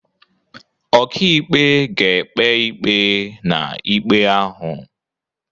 Ọkàikpe ga-ekpe ikpe na ikpe ahụ.